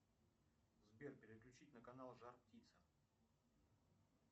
сбер переключить на канал жар птица